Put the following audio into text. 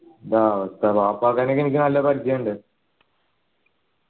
ആ വാപ്പാക്കാക്കനെ ക്കെ എനിക്ക് നല്ല പരിചയം ഇണ്ട്